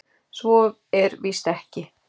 Svo er víst ekki.